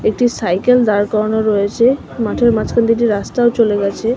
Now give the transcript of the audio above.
একটি সাইকেল দাঁড় করানো রয়েছে মাঠের মাঝখান দিয়ে একটি রাস্তাও চলে গেছে।